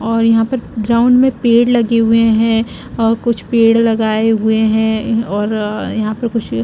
और यहाँ पर ग्राउंड में पेड़ लगे हुए है और कुछ पेड़ लगाए हुए है और अ यहाँ पर कुछ--